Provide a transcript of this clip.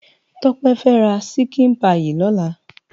Tope fè rá ṣikin páyi lòlá